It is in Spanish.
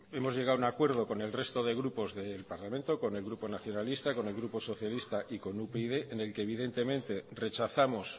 hemos llegado a un acuerdo con el resto de grupos del parlamento con el grupo nacionalista con el grupo socialista y con upyd en el que evidentemente rechazamos